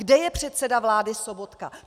Kde je předseda vlády Sobotka?